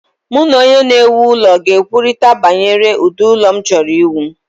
Mụ na onye na-ewu ụlọ ga-ekwurịta banyere ụdị ụlọ m chọrọ iwu.